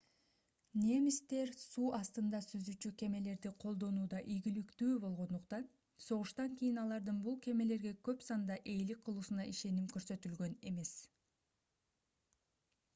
немистер суу астында сүзүүчү кемелерди колдонууда ийгиликтүү болгондуктан согуштан кийин алардын бул кемелерге көп санда ээлик кылуусуна ишеним көрсөтүлгөн эмес